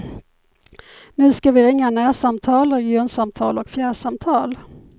Nu ska vi ringa närsamtal, regionsamtal och fjärrsamtal.